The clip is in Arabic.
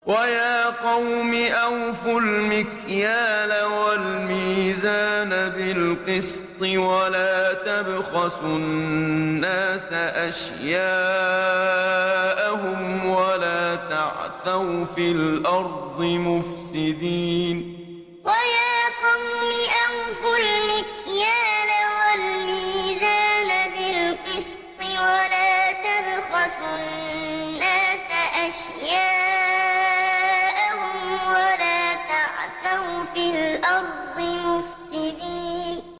وَيَا قَوْمِ أَوْفُوا الْمِكْيَالَ وَالْمِيزَانَ بِالْقِسْطِ ۖ وَلَا تَبْخَسُوا النَّاسَ أَشْيَاءَهُمْ وَلَا تَعْثَوْا فِي الْأَرْضِ مُفْسِدِينَ وَيَا قَوْمِ أَوْفُوا الْمِكْيَالَ وَالْمِيزَانَ بِالْقِسْطِ ۖ وَلَا تَبْخَسُوا النَّاسَ أَشْيَاءَهُمْ وَلَا تَعْثَوْا فِي الْأَرْضِ مُفْسِدِينَ